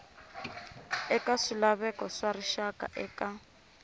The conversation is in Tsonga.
eka swilaveko swa rixaka eka